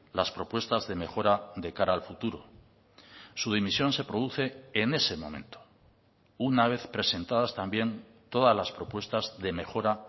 las propuestas de mejora de cara al futuro su dimisión se produce en ese momento una vez presentadas también todas las propuestas de mejora